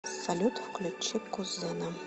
салют включи кузена